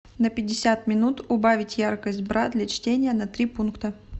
на пятьдесят минут убавить яркость бра для чтения на три пункта